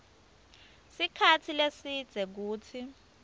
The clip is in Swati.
sikhatsi lesidze kutsi